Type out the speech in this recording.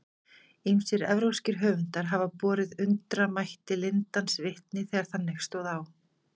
Ýmsir evrópskir höfundar hafa borið undramætti lindans vitni þegar þannig stóð á.